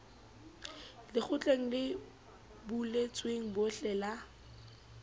lekgotleng le buletsweng bohle la